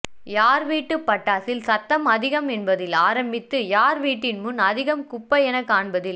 யார் வீட்டுப் பட்டாசில் சத்தம் அதிகம் என்பதில் ஆரம்பித்து யார் வீட்டின் முன் அதிகம் குப்பையென காண்பதில்